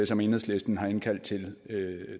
som enhedslisten har indkaldt til